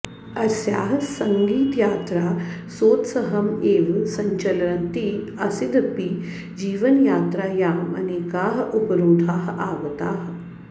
अस्याः सङ्गीतयात्रा सोत्सहम् एव सञ्चलन्ती आसिदपि जीवनयात्रायाम् अनेकाः उपरोधाः आगताः